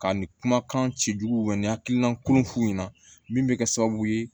Ka nin kumakan ci juguya ni hakilina kuraw f'u ɲɛna min bɛ kɛ sababu ye